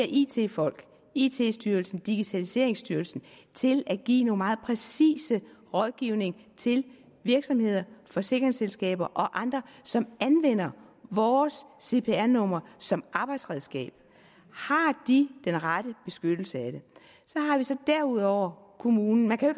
it folk it styrelsen digitaliseringsstyrelsen til at give noget meget præcis rådgivning til virksomheder forsikringsselskaber og andre som anvender vores cpr numre som arbejdsredskab har de den rette beskyttelse af det så har vi så derudover kommunen man kan jo